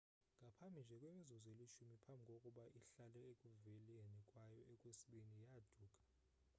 ngaphambi nje kwemizuzu elishumi phambi kokuba ihlale ekuveleni kwayo okwesibini yaaduka